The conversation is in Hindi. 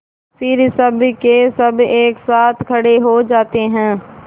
फिर सबकेसब एक साथ खड़े हो जाते हैं